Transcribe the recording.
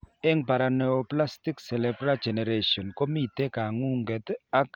Eng' paraneoplastic cerebellar degeneration komite kang'ung'et, ak kastaetab rwondo kou kaborunoik chetai